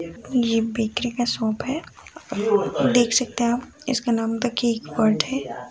ये बेकरी का शॉप है देख सकते हैं अाप इसका नाम द केक वर्ल्ड है।